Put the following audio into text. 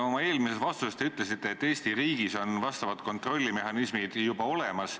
Oma eelmises vastuses te ütlesite, et Eesti riigis on vastavad kontrollmehhanismid juba olemas.